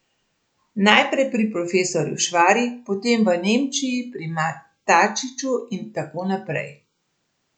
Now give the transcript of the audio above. Naprej pri profesorju Švari, potem v Nemčiji pri Matačiću in tako naprej.